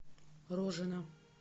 рожина